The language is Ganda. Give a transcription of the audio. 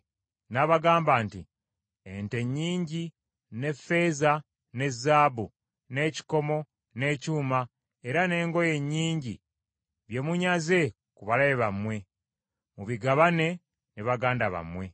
N’abagamba nti, “Ente nnyingi, ne ffeeza, ne zaabu, n’ekikomo, n’ekyuma, era n’engoye nnyingi bye munyaze ku balabe bammwe; mubigabaane ne baganda bammwe.”